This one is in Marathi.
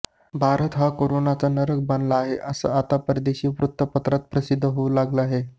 भारता हा करोनाचा नरक बनला आहे असं आता परदेशी वृत्तपत्रांत प्रसिद्ध होऊ लागलं आहे